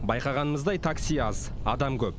байқағанымыздай такси аз адам көп